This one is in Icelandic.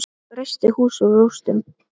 Reisti hús úr rústum.